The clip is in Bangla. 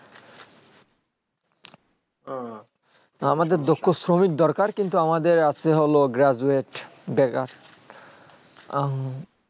আমাদের দক্ষ শ্রমিক দরকার কিন্তু আমাদের আছে হলো graduate বেকার উম